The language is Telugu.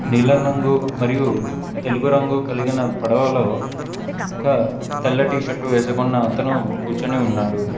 నీలం రంగు మరియు తెలుపు రంగు కలిగిన పడవలో ఒక తెల్ల టీ షర్ట్ వేసుకున్న అతను కూచొని ఉన్నాడు.